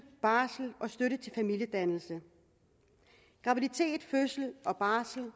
barsel og støtte til familiedannelse graviditet fødsel og barsel